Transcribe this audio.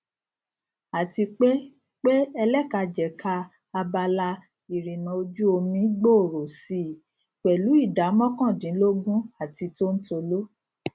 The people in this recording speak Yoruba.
àti pé pé ẹlẹkajẹka abala ìrìnà ojúomi gbòòrò si pẹlú ìdá mọkàndínlógún àti tóntóló